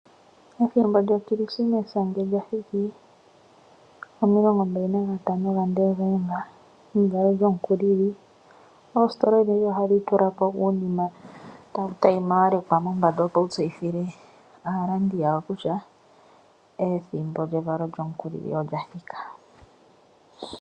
Ethimbo lyokrismesa ngele lya thiki, momilongo mbali na gatano gaDesemba, evalo lyomukulili. Oositola odhindji ohadhi tula ko uunima tawu tayima wa lekwa mombanda, opo tawu tseyithile aalandi yawo kutya ethimbo lyevalo lyomukulili olya thika.